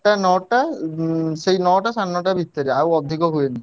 ଆଠଟା ନଅଟା ସେଇ ନଅଟା ସାଢେ ନଅଟା ଭିତରେ ଆଉ ଅଧିକ ହୁଏନି।